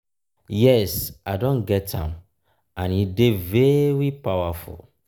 yes i don get am and e dey very powerful.